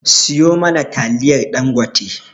siyo mana taliyar ɗangote